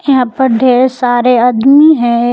यहां पर ढेर सारे आदमी है।